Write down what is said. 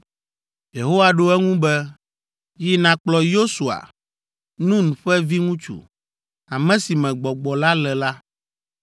Yehowa ɖo eŋu be, “Yi nàkplɔ Yosua, Nun ƒe viŋutsu, ame si me Gbɔgbɔ la le la,